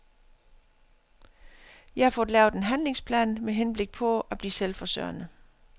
Jeg har fået lavet en handlingsplan med henblik på at blive selvforsørgende.